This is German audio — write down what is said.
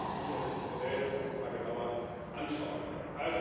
Das ist sicherlich ein Modell, das wir uns mal genauer anschauen sollten.